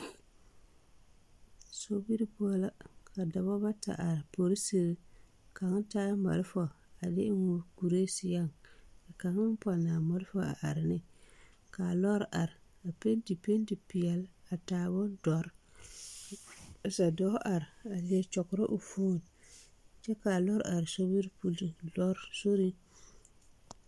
Sobiri poɔ la ka dɔba bata are ka polisiri kaŋ taa malfa a de eŋ o kuri seɛŋ kaŋ pɔnne a malfa a are neŋ ka lɔɔre are a penti penti peɛle a bondɔre polisi dɔɔ are a leɛ kyɔgrɔ o foni kyɛ ka a lɔɔre are sobiri poɔ.